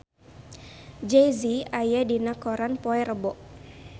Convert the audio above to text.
Jay Z aya dina koran poe Rebo